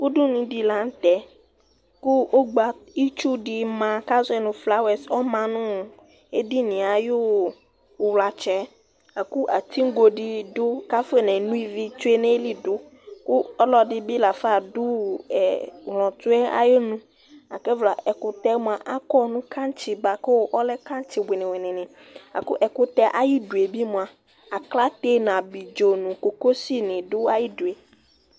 udunu di la nu tɛ, ku itsu di ma ku azɔɛ nu flawɛs ɔma nuu edinie ayuu uwlatsɛ la, ku atigo di du ku afɔ ne no ivi du nu ayili du ku ɔlɔdini bi la fa adu ɛ ɣlɔtsʋɛ ayu nu ku ɛvla ɛkutɛ akɔ nu kantsi bʋa ku ɔlɛ kantsi wuini ni la ku ɛkutɛ ayi due bi mʋa , aklate nu abidzo nu koko si du ayidue